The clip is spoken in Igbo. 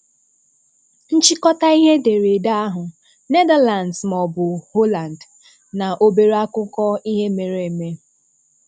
Nchịkọta ihe edereede ahu: Netherlands maọbụ Holland? Na obere akụkọ ihe mere eme;